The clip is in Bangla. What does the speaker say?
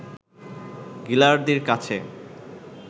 গিলার্ডির কাছে